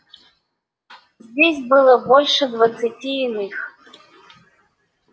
здесь было больше двадцати иных